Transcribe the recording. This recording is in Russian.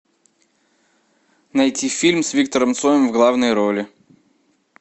найти фильм с виктором цоем в главной роли